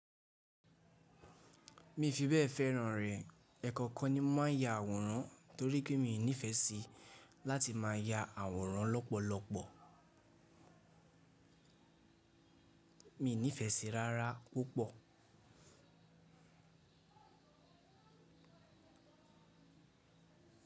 Mi fi bẹ́ẹ̀ fẹ́ràn rẹ̀. Ekookan ni mo máa ń ya àwòrán torí pé mi ò nífẹ̀ẹ́ sí láti má ya àwòrán lọ́pọ̀lọpọ̀. Mi ò nífẹ̀ẹ́ sí rárá púpọ̀.